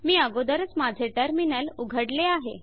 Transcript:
मी अगोदरच माझे टर्मिनल उघडले आहे